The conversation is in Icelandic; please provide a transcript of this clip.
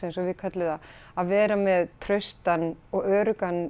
eins og við köllum það að vera með traustan og öruggan